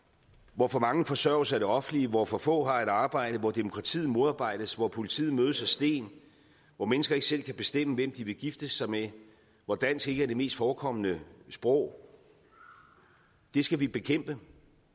hvor for mange forsørges af det offentlige hvor for få år har et arbejde hvor demokratiet modarbejdes hvor politiet mødes af sten hvor mennesker ikke selv kan bestemme hvem de vil gifte sig med hvor dansk ikke er det mest forekommende sprog det skal vi bekæmpe